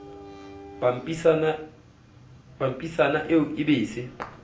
pampitshana eo e be se